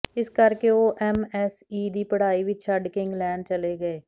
ਇਸ ਕਰਕੇ ਉਹ ਐੱਮਐੱਸਈ ਦੀ ਪੜਾਈ ਵਿੱਚ ਛੱਡਕੇ ਇੰਗਲੈਂਡ ਚਲੇ ਗਏ